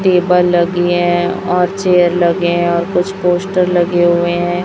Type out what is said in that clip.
Table लगी है और चेयर लगे हैं और कुछ पोस्टर लगे हुए हैं।